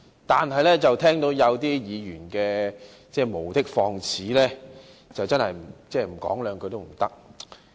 但是，聽到有些議員無的放矢，我不得不說兩句。